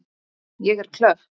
Ég er klökk.